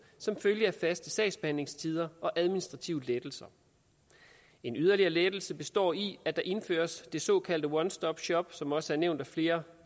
som følge af faste sagsbehandlingstider og administrative lettelser en yderligere lettelse består i at der indføres det såkaldte one stop shop som også er nævnt af flere